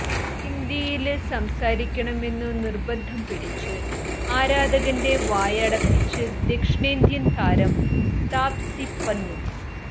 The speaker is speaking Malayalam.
ഹിന്ദിയില് സംസാരിക്കണമെന്നു നിര്ബന്ധം പിടിച്ച് ആരാധകന്റെ വായടപ്പിച്ച് ദക്ഷിണേന്ത്യന് താരം താപ്സി പന്നു